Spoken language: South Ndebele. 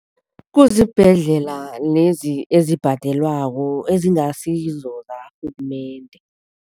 Kuzibhedlela lezi ezibhadelwako, ezingasizo zakarhulumende.